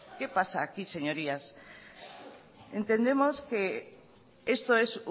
qué pasa aquí señorías entendemos que esto es